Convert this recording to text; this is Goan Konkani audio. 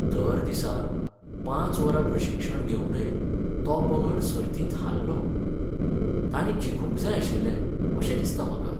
दर दिसा पांच वरां प्रशिक्षण घेवनय तो पंगड सर्तींत हारलो. तांणी जिखूंक जाय आशिल्लें अशें दिसता म्हाका.